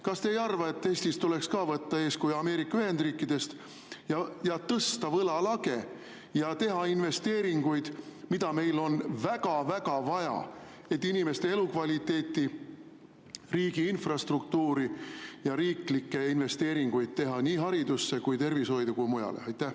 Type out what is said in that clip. Kas te ei arva, et Eestis tuleks võtta eeskuju Ameerika Ühendriikidest ja tõsta võlalage ja teha investeeringuid, mida meil on väga-väga vaja, et inimeste elukvaliteeti, riigi infrastruktuuri ja teha riiklikke investeeringuid nii haridusse, tervishoidu kui ka mujale?